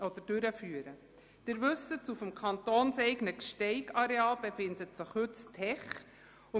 Sie wissen, dass sich auf dem kantonseigenen Gsteig-Areal heute das «Tech» befindet.